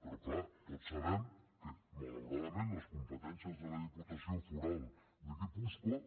però clar tots sabem que malauradament les competències de la diputació foral de guipúscoa